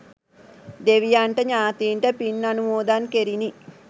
දෙවියන්ට ඥාතීන්ට පින් අනුමෝදන් කෙරිණි.